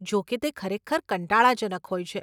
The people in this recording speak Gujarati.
જોકે તે ખરેખર કંટાળાજનક હોય છે.